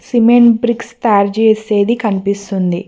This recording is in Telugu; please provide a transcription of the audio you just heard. సిమెంట్ బ్రిక్స్ తయారు చేసేది కనిపిస్తుంది.